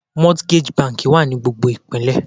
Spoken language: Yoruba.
Mortgage banki wà ní gbogbo Ìpínlẹ̀.